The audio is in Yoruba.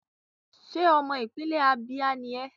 Ṣé ọmọ ìpínlẹ̀ Abia ni ẹ́?